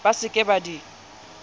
ba se ke ba di